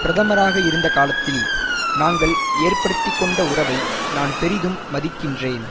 பிரதமராக இருந்த காலத்தில் நாங்கள் ஏற்படுத்திக்கொண்ட உறவை நான் பெரிதும் மதிக்கின்றேன்